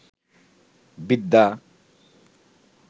বিদ্যা